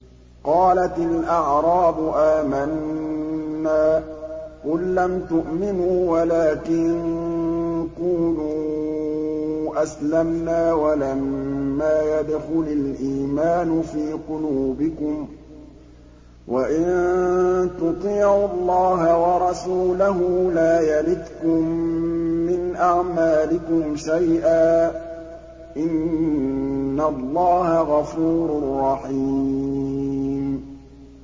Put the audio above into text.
۞ قَالَتِ الْأَعْرَابُ آمَنَّا ۖ قُل لَّمْ تُؤْمِنُوا وَلَٰكِن قُولُوا أَسْلَمْنَا وَلَمَّا يَدْخُلِ الْإِيمَانُ فِي قُلُوبِكُمْ ۖ وَإِن تُطِيعُوا اللَّهَ وَرَسُولَهُ لَا يَلِتْكُم مِّنْ أَعْمَالِكُمْ شَيْئًا ۚ إِنَّ اللَّهَ غَفُورٌ رَّحِيمٌ